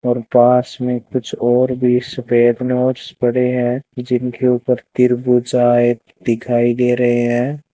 और पास में कुछ और भी सफेद नोट्स पड़े हैं जिनके ऊपर त्रिभुजाएं दिखाई दे रहे हैं।